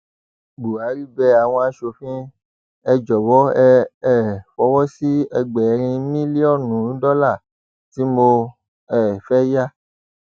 buhari bẹ àwọn asòfin ẹ jọwọ ẹ um fọwọ sí ẹgbẹrin mílíọnù dọlà tí mo um fẹẹ yà